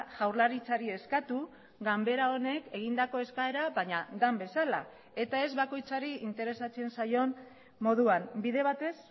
jaurlaritzari eskatu ganbera honek egindako eskaera baina den bezala eta ez bakoitzari interesatzen zaion moduan bide batez